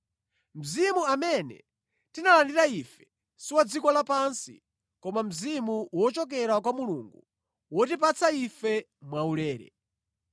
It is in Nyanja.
Mzimu amene tinalandira ife si wa dziko lapansi koma Mzimu wochokera kwa Mulungu wotipatsa ife mwaulere.